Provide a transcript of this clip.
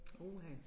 Uha